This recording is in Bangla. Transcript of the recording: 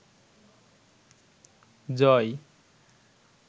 জয়